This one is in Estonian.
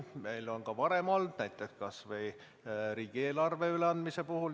Seda on ka varem olnud, näiteks kas või riigieelarve üleandmise puhul.